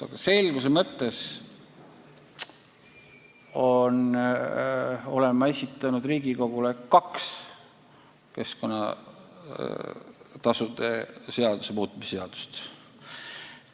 Aga selguse mõttes olen ma esitanud Riigikogule kaks keskkonnatasude seaduse muutmise seaduse eelnõu.